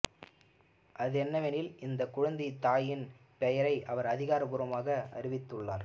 அது என்னவெனில் இந்த குழந்தையின் தாயின் பெயரை அவர் அதிகாரபூர்வமாக அறிவித்துள்ளார்